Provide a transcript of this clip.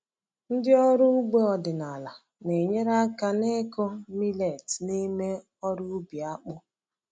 Ndị ọrụ ugbo ọdịnala na-enyere aka n’ịkụ millet n’ime ọrụ ubi akpụ.